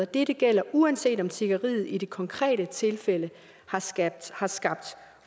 dette gælder uanset om tiggeriet i det konkrete tilfælde har skabt har skabt